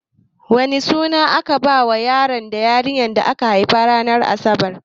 Wane suna ake bawa yaro da yarinya da aka haifa ranar asabar?